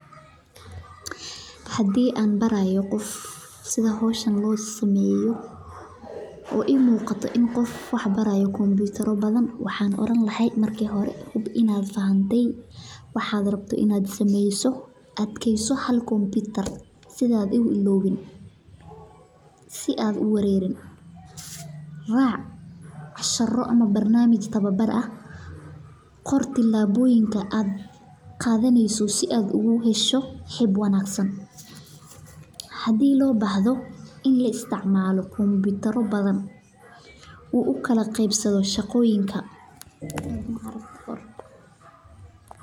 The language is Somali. Hadi an barayo qof sitha losameyo hoshan waxan bari laha adkeso hal computer sitha aa u ilawin sitha aa u warerin rac cashiro ama tawa baro dor tilaboyinka aa qadaneyso hadii lo bahdo in la isticmalo computer ro badan u ukala qebsadho shaqoyinka.